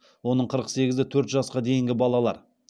оның қырық сегізі төрт жасқа дейінгі балалар